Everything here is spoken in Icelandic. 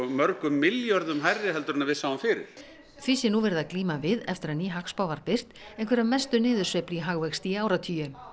mörgum milljörðum hærri en við sáum fyrir því sé nú verið að glíma við eftir að ný hagspá var birt einhverja mestu niðursveiflu í hagvexti í áratugi